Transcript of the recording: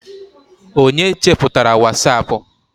onye cheputara wasapu?